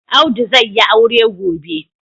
Audu zai yi aure gobe.